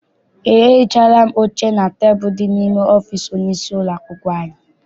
Eé, ehichaala m oche na tebulu dị n'ime ọfịịsi onye isi ụlọakwụkwọ anyị.